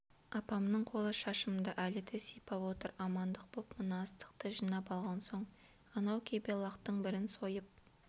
апамның қолы шашымды әлі де сипап отыр амандық боп мына астықты жинап алған соң анау кебе лақтың бірін сойып